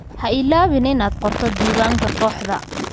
Ha iloobin inaad qorto diiwaanka kooxda